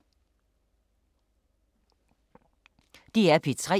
DR P3